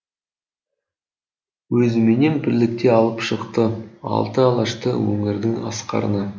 өзіменен бірлікте алып шықты алты алашты өнердің асқарына